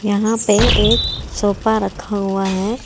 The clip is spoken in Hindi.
यहां पे एक सोफा रखा हुआ है।